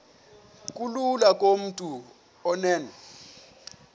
kulula kumntu onen